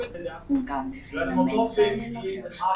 Hún gaf mér fína mynd sagði Lilla þrjósk.